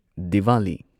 Diwali